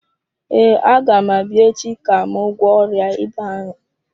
Ee, agam abịa echi ka m gwọọ ọrịa ịba ahụ.